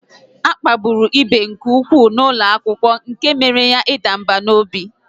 A kpagburu ibe nke ụkwụ n'ụlọ akwụkwọ nke na ọ banyere ịda mbà n'obi